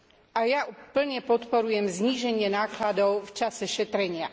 A ja plne podporujem zníženie nákladov v čase šetrenia.